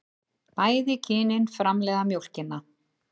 Bæði kynin framleiða mjólkina.